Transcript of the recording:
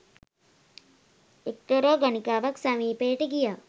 එක්තරා ගණිකාවක් සමීපයට ගියා.